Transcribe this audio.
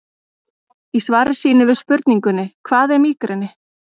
Í svari sínu við spurningunni Hvað er mígreni?